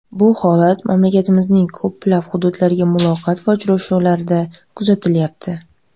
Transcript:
Bu holat mamlakatimizning ko‘plab hududlaridagi muloqot va uchrashuvlarda kuzatilyapti.